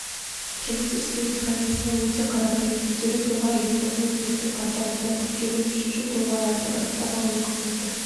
жұмыс істеу механизмі өте қарапайым мүдделі тұлға электронды үкіметтің порталында тіркеліп үшінші тұлғалардың анықтама алу қызметі